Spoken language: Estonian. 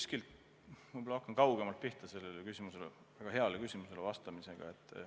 Ma võib-olla hakkan kaugemalt pihta sellele väga heale küsimusele vastamisega.